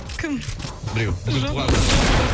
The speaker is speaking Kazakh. кім біреу бүгін туған күні бар жоқ жоқ